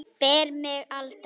Spyr mig aldrei.